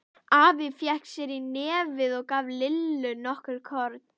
Afi fékk sér í nefið og gaf Lillu nokkur korn.